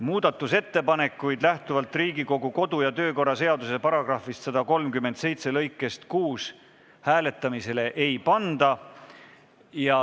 Muudatusettepanekuid lähtuvalt Riigikogu kodu- ja töökorra seaduse § 137 lõikest 6 hääletamisele ei panda.